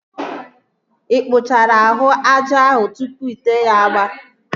Ị kpụchara ahụ aja ahụ tụpụ ite ya agba?